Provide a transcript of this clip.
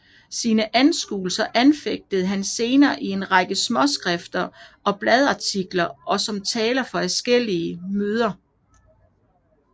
Sine anskuelser forfægtede han senere i en række småskrifter og bladartikler og som taler på adskillige agitationsmøder